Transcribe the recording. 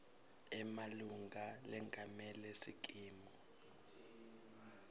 emalunga lengamele sikimu